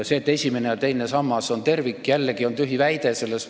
See, et esimene ja teine sammas on tervik, on jällegi tühi väide.